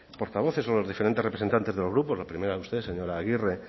portavoces o los diferentes representantes de los grupos la primera usted señora agirre